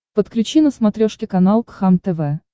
подключи на смотрешке канал кхлм тв